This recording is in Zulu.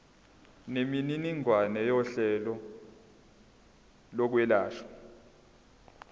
nemininingwane yohlelo lokwelashwa